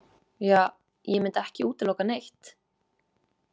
Ja, ég myndi ekki útiloka neitt.